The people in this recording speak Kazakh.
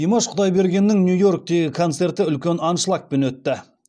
димаш құдайбергеннің нью йорктегі концерті үлкен аншлагпен өтті